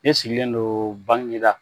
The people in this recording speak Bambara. Ne sigilen don Baginda